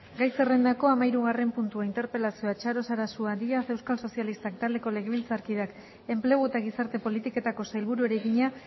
gai zerrendako hamahirugarren puntua interpelazioa txaro sarasua díaz euskal sozialistak taldeko legebiltzarkideak enplegu eta gizarte politiketako sailburuari egina